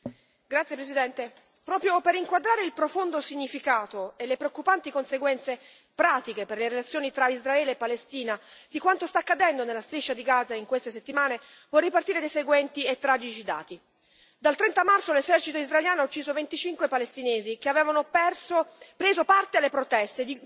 Signor Presidente, onorevoli colleghi, proprio per inquadrare il profondo significato e le preoccupanti conseguenze pratiche per le relazioni tra Israele e Palestina di quanto sta accadendo nella striscia di Gaza in queste settimane, vorrei partire dai seguenti e tragici dati dal 30 marzo l'esercito israeliano ucciso 25 palestinesi che avevano preso parte alle proteste,